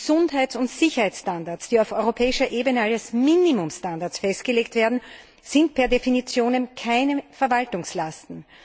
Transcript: Gesundheits und Sicherheitsstandards, die auf europäischer Ebene als Minimumstandards festgelegt werden, sind per definitionem keine Verwaltungslasten.